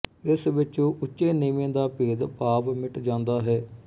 ਇਸ ਵਿੱਚ ਉੱਚੇ ਨੀਵੇਂ ਦਾ ਭੇਦਭਾਵ ਮਿਟ ਜਾਂਦਾ ਹੈ